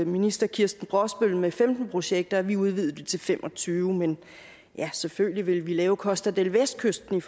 minister kirsten brosbøl med femten projekter vi udvidede det til femogtyvende men selvfølgelig ville vi lave costa del vestkysten i